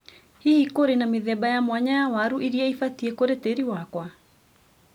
Hihi, kũrĩ na mĩthemba ya mwanya ya waru irĩa ibatie kũrĩ tĩri wakwa?